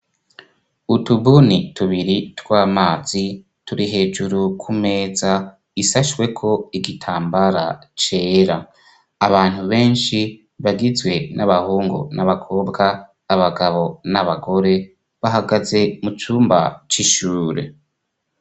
Utubuni tubiri tw'amazi turi hejuru kumeza isashweko igitambara cera abantu benshi bagizwe n'abahungu n'abakobwa abagabo n'abagore bahagaze mu cumba c'ishure.